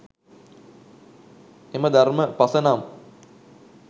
එම ධර්ම පස නම්